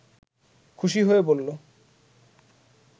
খুশি হয়ে বলল